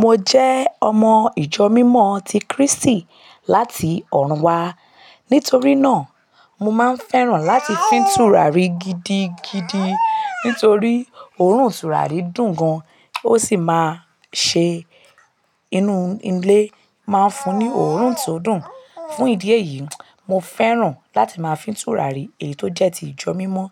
Mo jẹ́ ọmọ ìjọ mímọ ti Krístì láti ọ̀run wa. Nítorí náà, mo máa ń fẹ́ràn láti fín tùràrí gidigidi nítorí òórùn tùràrí dùn gan, ó sì máa ń ṣe inú ilé máa ń fún ní òórùn tí ó dùn. Fún ìdí èyí, mo fẹ́ràn láti máa fín tùràrí èyí tó jẹ́ ti ìjọ mímọ